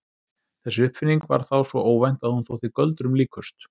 Þessi uppfinning var þá svo óvænt að hún þótti göldrum líkust.